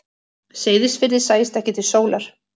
Seyðisfirði sæist ekki til sólar.